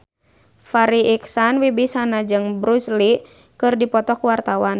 Farri Icksan Wibisana jeung Bruce Lee keur dipoto ku wartawan